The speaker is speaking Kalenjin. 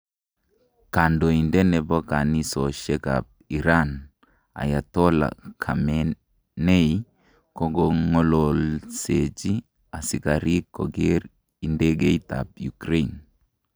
Kandoindet nebo kanisoshek ab Iran, Ayatollah Khamenei kokongololseji asikarik koger idegeit tab Ukraine.